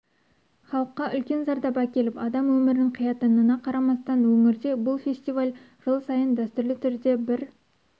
халыққа үлкен зардап әкеліп адам өмірін қиятынына қарамастан өңірде бұл фестиваль жыл сайын дәстүрлі түрде бір